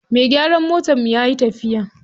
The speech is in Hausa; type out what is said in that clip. Mai gyaran motarmu yayi tafiya.